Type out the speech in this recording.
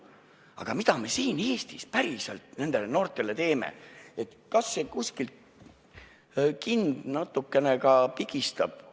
Aga mida me siin Eestis päriselt nendele noortele teeme, kas king kuskilt natukene ka pigistab?